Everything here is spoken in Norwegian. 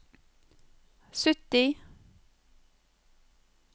sytti